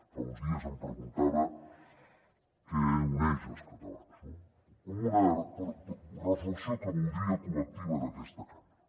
fa uns dies em preguntava què uneix els catalans no com una reflexió que voldria col·lectiva d’aquesta cambra